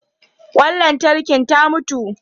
Ƙwan lantarkin ta mutu.